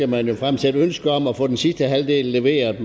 man jo fremsætte ønske om at få den sidste halvdel leveret